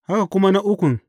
Haka kuma na ukun.